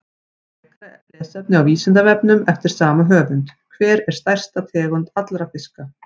Frekara lesefni á Vísindavefnum eftir sama höfund: Hver er stærsta tegund allra fiska?